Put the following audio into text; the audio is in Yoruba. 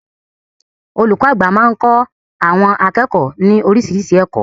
Olùkọ́ àgbà máa ń kọ́ àwọn akẹ́kọ̀ọ́ ní oríṣiríṣi ẹ̀kọ́.